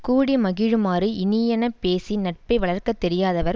கூடி மகிழுமாறு இனியன பேசி நட்பை வளர்க்க தெரியாதவர்